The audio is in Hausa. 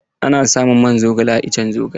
Ana samun man zogale a iccen zogale.